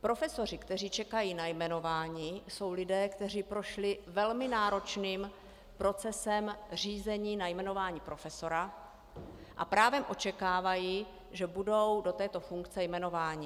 Profesoři, kteří čekají na jmenování, jsou lidé, kteří prošli velmi náročným procesem řízení na jmenování profesora a právem očekávají, že budou do této funkce jmenováni.